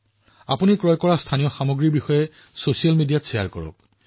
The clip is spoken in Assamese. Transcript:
লগতে আপুনি ইয়াত ক্ৰয় কৰা স্থানীয় সামগ্ৰীৰ বিষয়ে সামাজিক মাধ্যমত ভাগ বতৰা কৰক